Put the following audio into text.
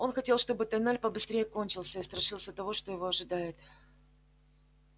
он хотел чтобы тоннель побыстрее кончился и страшился того что его ожидает